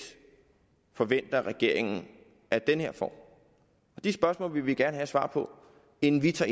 forventer regeringen at den får det spørgsmål vil vi gerne have et svar på inden vi tager